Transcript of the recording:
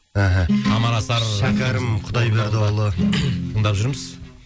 ііі тамара асар шәкәрім құдайбердіұлы тыңдап жүрміз